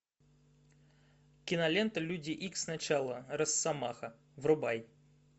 кинолента люди икс начало росомаха врубай